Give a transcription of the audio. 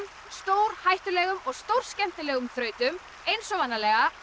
stórhættulegum og stórskemmtilegum þrautum eins og vanalega